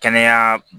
Kɛnɛya